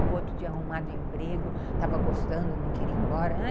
O outro tinha arrumado emprego, estava gostando, não queria ir embora.